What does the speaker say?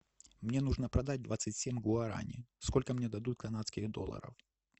мне нужно продать двадцать семь гуарани сколько мне дадут канадских долларов